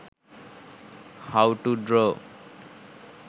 how to draw